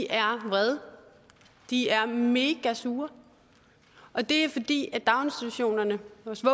er vrede de er megasure og det er fordi i daginstitutionerne